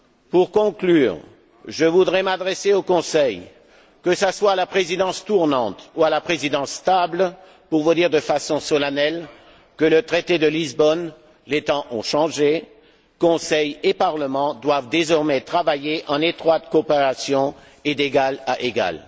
Pour conclure, je voudrais m'adresser au Conseil, que ce soit à la Présidence tournante ou à la Présidence stable, pour vous dire de façon solennelle qu'avec le traité de Lisbonne, les temps ont changé, le Conseil et le Parlement doivent désormais travailler en étroite coopération et d'égal à égal.